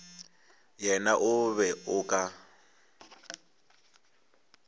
yena o be o ka